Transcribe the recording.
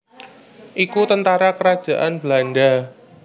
iku tentara kerajaan Belanda